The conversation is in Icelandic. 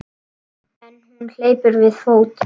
En hún hleypur við fót.